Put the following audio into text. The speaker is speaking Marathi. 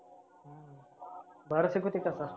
भारी शिकवते का sir?